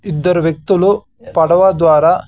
ఇద్దరు వ్యక్తులు పడవ ద్వారా.